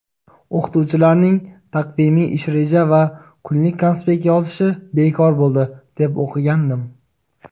O‘qituvchilarning taqvimiy-ish reja va kunlik konspekt yozishi bekor bo‘ldi deb o‘qigandim.